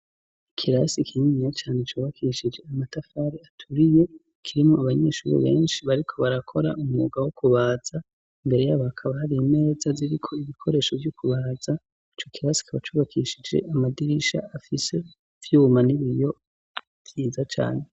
Ikirasi ikinyiniya cane cobakishije amatafari aturiye ikirimu abanyeshuri benshi bariko barakora umuga wo kubaza imbere yabo akaba hari imeza ziriko ibikoresho vy'ukubaza co kirasi kawa cubakishije amadirisha afise vyuma nibiyo vyiza cane.